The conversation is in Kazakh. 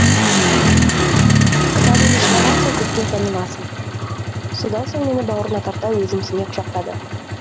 кітабыңды шығарасың көпке таныласың содан соң мені бауырына тарта өзімсіне құшақтады